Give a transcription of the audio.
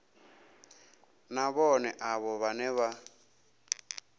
na vhohe avho vhane vha